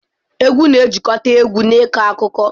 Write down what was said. Egwu na-ejikọta egwu na ịkọ akụkọ.